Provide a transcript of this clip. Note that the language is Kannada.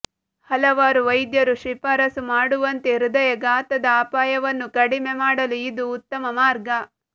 ಹಲವಾರು ವೈದ್ಯರು ಶಿಫಾರಸು ಮಾಡುವಂತೆ ಹೃದಯಾಘಾತದ ಅಪಾಯವನ್ನು ಕಡಿಮೆ ಮಾಡಲು ಇದು ಉತ್ತಮ ಮಾರ್ಗ